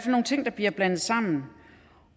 nogle ting der bliver blandet sammen